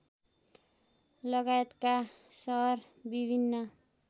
लगायतका सहर विभिन्न